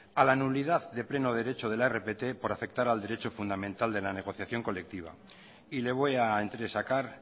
a la nulidad de pleno derecho de la rpt por afectar al derecho fundamental de la negociación colectiva y le voy a entresacar